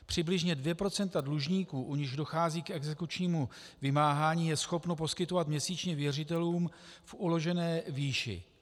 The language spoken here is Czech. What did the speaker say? Přibližně 2 % dlužníků, u nichž dochází k exekučnímu vymáhání, je schopno poskytovat měsíčně věřitelům v uložené výši.